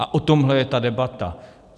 A o tomhle je ta debata.